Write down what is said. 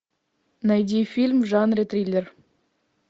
найди фильм в жанре триллер